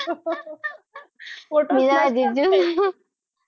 તેરા જીજુ